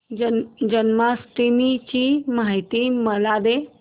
जन्माष्टमी ची माहिती मला दे